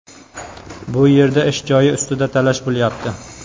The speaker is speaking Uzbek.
Bu yerda ish joyi ustida talash bo‘lyapti.